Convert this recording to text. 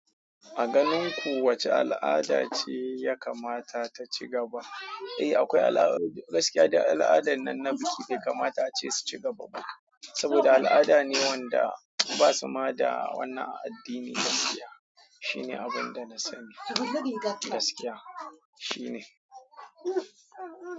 A ganin ku wace al'ada ce ya kamata ta ci gaba? Eh akwai al'ada, gaskiya da al'adan nan na biki bai kamata ace su ci gaba ba. Saboda da al'adane wanda basuma da wannan a addini ma shine abunda na sani gaskiya.